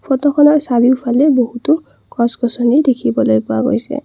ফটোখনৰ চাৰিওফালে বহুতো গছ গছনি দেখিবলৈ পোৱা গৈছে।